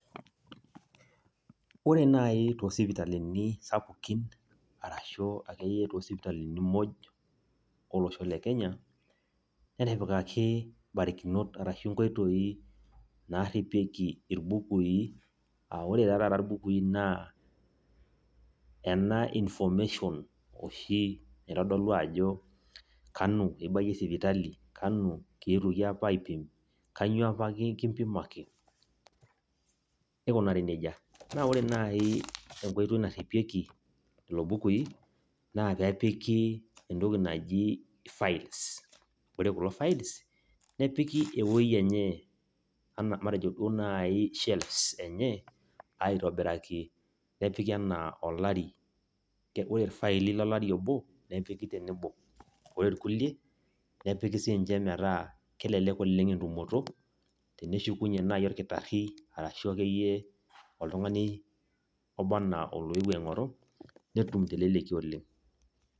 Ore nai toosipitalini sapukin arashu akeyie toosipitalini muj olosho le kenya , netipikaki nkoitoi naripieki arashu irbukui . Aa ore taa taata irbukui naa ena information oshi naitodolu ajo kanu ibayie sipitali, kanu kietuoki aipim , kainyioo apa kipimaki, neikunari nejia . Naa ore nai enkoitoi naripieki lelo bukui naa peepiki entoki naji files. Ore kulo files nepiki ewueji enye ana matejo duo nai shelves enye , aitobiraki, nepiki anaa olari . Ore irfaili lolari obo , nepiki tenebo. Ore irkulie nepiki sininche metaa kelelek entumoto, teneshukunyie naji orkitari arashu akeyie oltungani oba anaa oloewuo aingoru netum teleleki oleng.